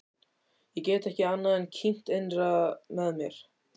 Ég get ekki annað en kímt innra með mér.